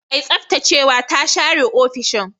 Mai tsaftacewa ta share ofishin.